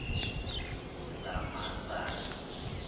samasayi